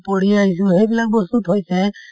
বা আমি পঢ়ি আহিছোঁ সেইবিলাক বস্তু থৈছে ।